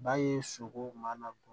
Ba ye sogo ma bɔ